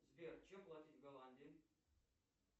сбер чем платить в голландии